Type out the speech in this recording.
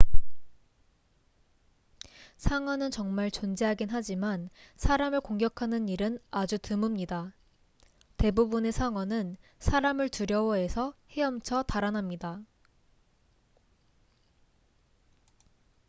상어는 정말 존재하긴 하지만 사람을 공격하는 일은 아주 드뭅니다 대부분의 상어는 사람을 두려워해서 헤엄쳐 달아납니다